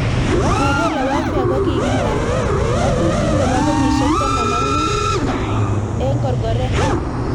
Guerrilla warfare kokikirat ratutik nebo kenyishek taman ak mut ik korgorret.